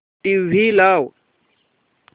TV लाव